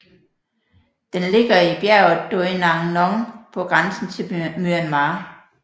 Den ligger i bjerget Doi Nang Non på grænsen til Myanmar